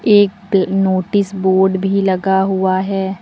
एक notice board भी लगा हुआ है।